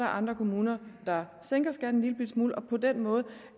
andre kommuner der sænker skatten en lillebitte smule og på den måde